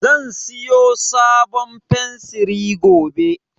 Zan siyo sabon fensiri gobe